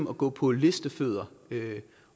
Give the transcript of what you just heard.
at gå på listefødder